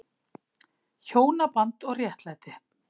HJÓNABAND OG RÉTTLÆTI